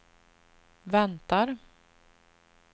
väntar